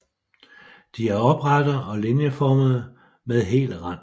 De er oprette og linieformede med hel rand